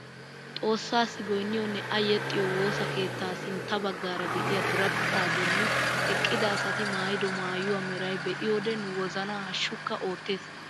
Xoossasi goynniyoonne a yexxiyoo woossa keettaa sintta baggaara de'iyaa diriphaa bolli eqqida asati maayido maayuwaa meray be'iyoode nu wozanaa haashukka oottees.